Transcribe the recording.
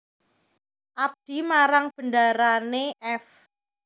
Abdi marang bendarane f